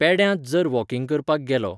पेड्यांत जर वॉकींग करपाक गेलो.